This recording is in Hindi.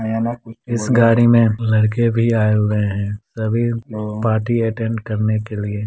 इस गाड़ी में लड़के भी आए हुए हैं सभी पार्टी अटेंड करने के लिए।